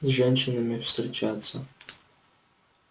с женщинами встречаться